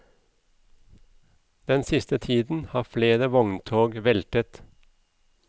Den siste tiden har flere vogntog veltet.